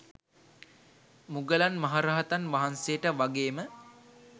මුගලන් මහ රහතන් වහන්සේට වගේම